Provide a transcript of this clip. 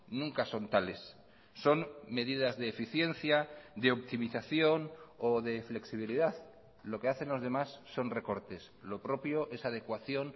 nunca son tales son medidas de eficiencia de optimización o de flexibilidad lo que hacen los demás son recortes lo propio es adecuación